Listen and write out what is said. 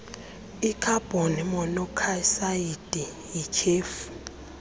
ikhabhoni monokhsayidi yityhefu